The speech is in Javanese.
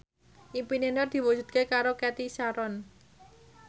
impine Nur diwujudke karo Cathy Sharon